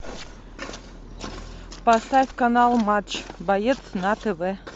поставь канал матч боец на тв